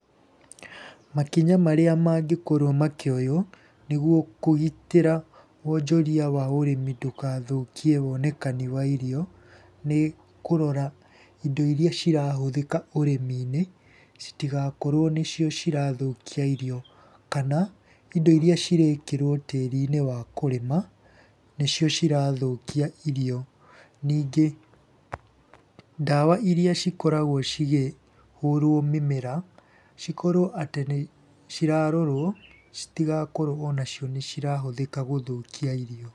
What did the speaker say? Makinya marĩa mangĩkorũo makĩoyũo nĩguo kũgitĩra wonjoria wa ũrĩmi ndũgathũkie wonekani wa irio, nĩ kũrora indo iria cirahũthĩka ũrĩmi-inĩ, citigakorwo nĩ cio cirathũkia irio. Kana indo iria cirekĩrwo tĩri-inĩ wa kũrĩma nĩcio cirathũkia irio. Ningĩ ndawa iria cikoragwo cigĩhũrwo mĩmera cikorwo atĩ nĩ cirarorwo citigakorwo ona cio nĩ cirahũthĩka gũthũkia irio.